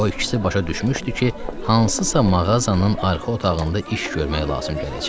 O ikisi başa düşmüşdü ki, hansısa mağazanın arxa otağında iş görmək lazım gələcək.